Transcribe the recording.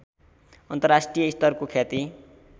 अन्तर्राष्ट्रियस्तरको ख्याति